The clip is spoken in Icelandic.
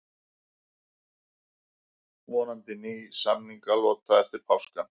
Vonandi ný samningalota eftir páska